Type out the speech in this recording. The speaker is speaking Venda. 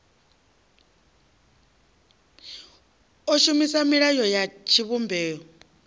o shumisa milayo ya tshivhumbeo